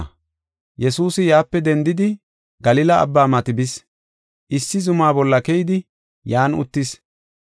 Yesuusi yaape dendidi Galila Abbaa mati bis. Issi zuma bolla keyidi, yan uttis.